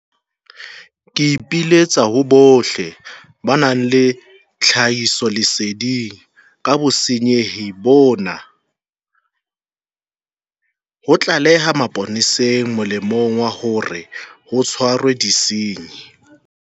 Ke ipiletsa ho bohle ba nang le tlhahisoleseding ka bosenyi bona ho e tlaleha mapoleseng molemong wa hore ho tshwarwe disenyi.